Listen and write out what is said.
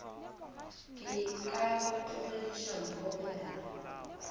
ka go tlogediša mpho bjala